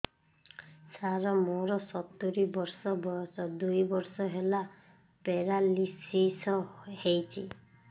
ସାର ମୋର ସତୂରୀ ବର୍ଷ ବୟସ ଦୁଇ ବର୍ଷ ହେଲା ପେରାଲିଶିଶ ହେଇଚି